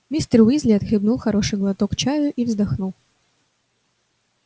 мистер уизли отхлебнул хороший глоток чаю и вздохнул